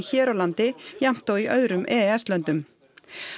hér á landi jafnt og í öðrum e s löndum